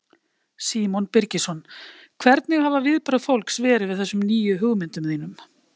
Símon Birgisson: Hvernig hafa viðbrögð fólks verið við þessum nýju hugmyndum þínum?